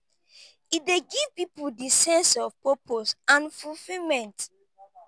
e dey give people di sense of purpose and fulfilment.